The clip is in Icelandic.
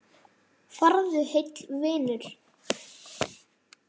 Farðu heill, vinur.